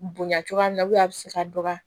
Bonya cogoya min na a bɛ se ka dɔgɔya